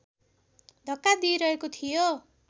धक्का दिइरहेको थियो